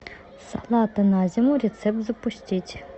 салаты на зиму рецепт запустить